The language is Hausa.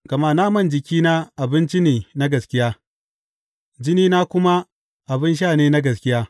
Gama naman jikina abinci ne na gaskiya jinina kuma abin sha ne na gaskiya.